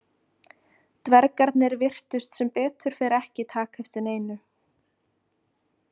Dvergarnir virtust sem betur fer ekki taka eftir neinu.